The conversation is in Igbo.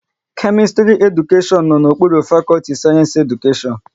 Kemistri Edukashion no n'okpuru fakọlti Sayensi Edukashion